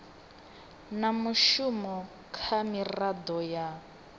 na mushumo kha miraḓo ya